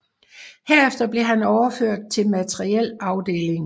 Herefter blev han overført til materiel afdelingen